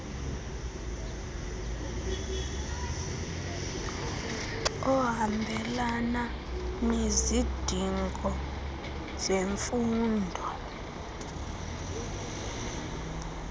ohambelana nezidingo zemfundo